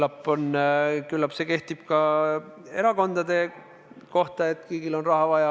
Ja küllap see kehtib ka erakondade kohta, et kõigil on raha vaja.